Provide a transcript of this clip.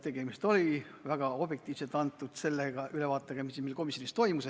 Tegemist oli väga objektiivselt antud ülevaatega sellest, mis meil komisjonis toimus.